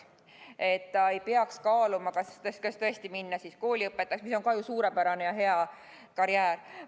Siis ta ei peaks tõesti kaaluma, kas minna kooliõpetajaks, mis on küll samuti suurepärane ja hea karjäär.